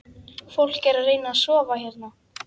Fólk er að reyna að sofa hérna